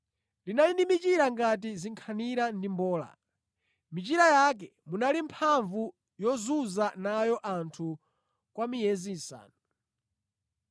Linali ndi michira ngati zinkhanira ndi mbola. Mʼmichira yake munali mphamvu yozunza nayo anthu kwa miyezi isanu.